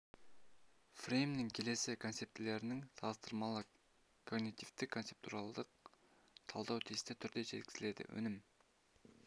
фреймінің келесі концептілерін салыстырмалы когнитивтік-концептуалдық талдау тиісті түрде жүргізілді өнім